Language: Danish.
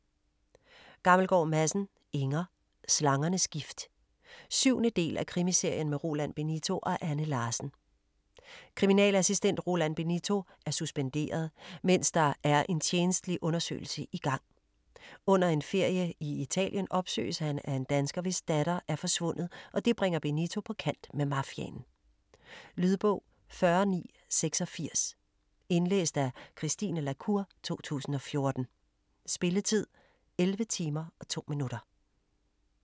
Gammelgaard Madsen, Inger: Slangernes gift 7. del af Krimiserien med Roland Benito og Anne Larsen. Kriminalassistent Roland Benito er suspenderet, mens der er en tjenestelig undersøgelse i gang. Under en ferie i Italien opsøges han af en dansker, hvis datter er forsvundet, og det bringer Benito på kant med mafiaen. Lydbog 40986 Indlæst af Christine la Cour, 2014. Spilletid: 11 timer, 2 minutter.